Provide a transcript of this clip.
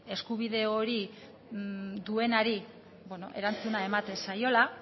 eskubide hori duenari erantzuna ematen zaiola